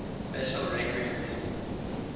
special requiem hymns